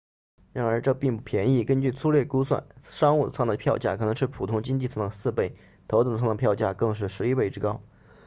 然而这并不便宜根据粗略估算商务舱的票价可能是普通经济舱的4倍头等舱的票价更是11倍之高